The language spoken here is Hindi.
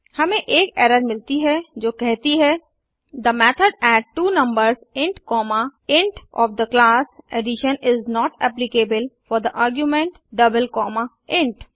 हमें एक एरर मिलती है जो कहती है the method add two numbers int comma int of the class addition is not applicable for the argument double comma int